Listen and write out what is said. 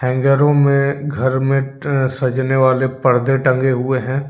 हैंगरों में घर में सजाने वाले परदे टंगे हुए हैं।